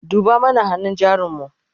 duba mana hannun jarin mu!